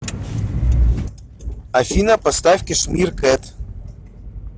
афина поставь кэшмир кэт